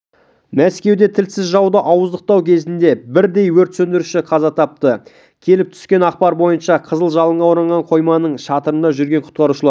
мәскеуде тілсіз жауды ауыздықтау кезінде бірдей өрт сөндіруші қаза тапты келіп түскен ақпар бойынша қызыл жалынға оранған қойманың шатырында жүрген құтқарушылар